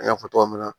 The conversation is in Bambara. An y'a fɔ togo min na